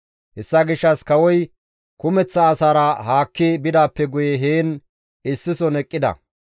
Hessa gishshas kawoy kumeththa asaara haakki bidaappe guye heen issison eqqida.